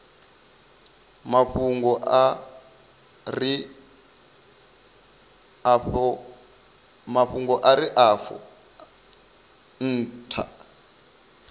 mafhungo a re afho ntha